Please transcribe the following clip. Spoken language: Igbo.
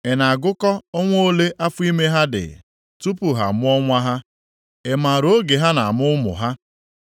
Ị na-agụkọ ọnwa ole afọ ime ha na-adị tupu ha amụọ nwa ha. Ị maara oge ha na-amụ ụmụ ha?